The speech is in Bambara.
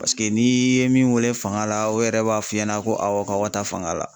Paseke n'i ye min weele fanga la o yɛrɛ b'a f'i ɲɛna ko awɔ k'aw ka taa fanga la.